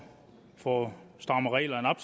få strammet reglerne op